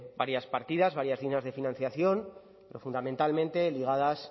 varias partidas varias líneas de financiación pero fundamentalmente ligadas